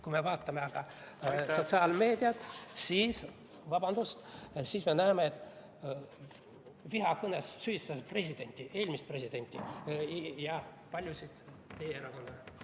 Kui me vaatame aga sotsiaalmeediat, siis me näeme, et vihakõnes on süüdistatud presidenti, eelmist presidenti ja paljusid teie erakonna liikmeid.